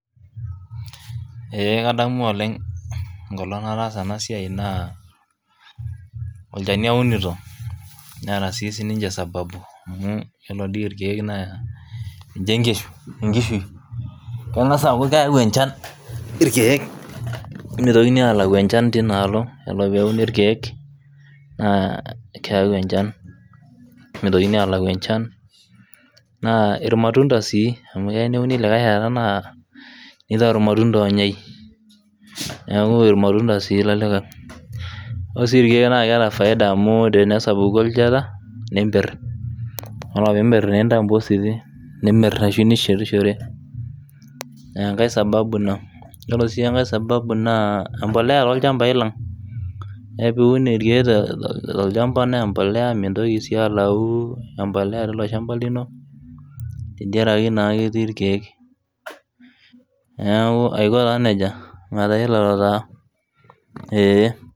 ee kadamu oleng onkolong nataasa enasiai naa olchani aunuto, amu iyiolo dii ikeek naa enkishui kengas aaku keyau enchan ilkeek mitokini alau enchen, naa ilmatunda sii amu kelo neuni likae shani nitau ilmatunda, neeku ilmatunda ore sii ilkeek kitau impositi aa intau ake nimir, nisheti shore, ore sii engae naa empolea sii .